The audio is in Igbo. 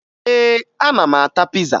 Ee, ana m ata piza